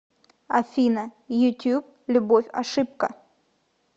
афина ютьюб любовь ошибка